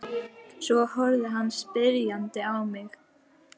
Svo horfði hann spyrjandi á mig.